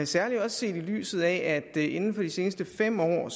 særligt ses i lyset af at der inden for de seneste fem år